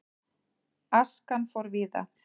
Askan fór víða.